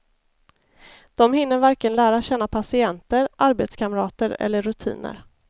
De hinner varken lära känna patienter, arbetskamrater eller rutiner.